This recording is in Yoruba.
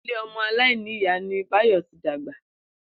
Ilé o̩mo̩ aláìníyàá ni Báyò̩ ti dàgbà